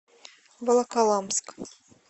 волоколамск